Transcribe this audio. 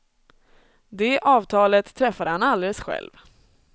Det avtalet träffade han alldeles själv.